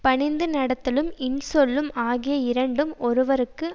பணிந்து நடத்தலும் இன்சொல்லும் ஆகிய இரண்டும் ஒருவருக்கு